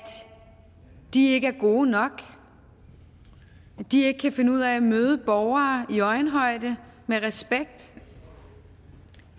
de ikke er gode nok at de ikke kan finde ud af at møde borgere i øjenhøjde og med respekt